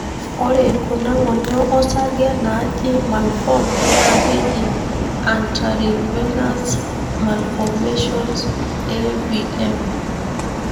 ore kuna ngonyo osarge naaji malformed na keji arteriovenous malformations (AVM).